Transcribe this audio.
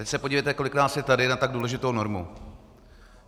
Teď se podívejte, kolik nás je tady na tak důležitou normu.